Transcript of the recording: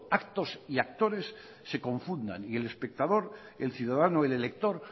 actos y actores se confundan y el espectador el ciudadano o el elector